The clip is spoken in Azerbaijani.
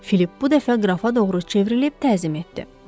Filip bu dəfə qrafa doğru çevrilib təzim etdi.